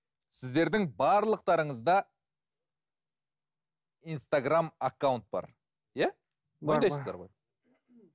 сіздердің барлықтарыңызда инстаграмм аккаунт бар иә мойындайсыздар ғой